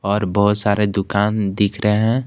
और बहुत सारे दुकान दिख रहे हैं।